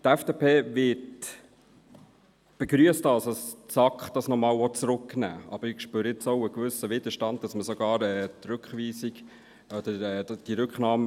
Die FDP begrüsst, dass es die SAK nochmals zurücknehmen will, aber ich spüre auch einen gewissen Widerstand gegen eine Unterstützung der Rücknahme.